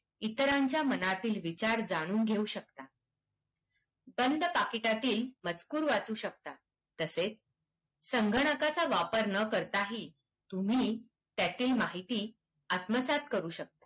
इतरांच्या मनातील विचार जाणून घेऊ शकता, बंद पाकिटातील मजूकर वाचू शकता. तसेच संगणकाचा वापर न करताही तुम्ही त्यातील माहिती आत्मसात करू शकता.